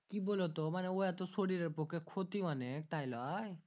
কি বুলোতো মানে ওয়া তো শরীরের পক্ষে ক্ষতি অনেক তাই লয়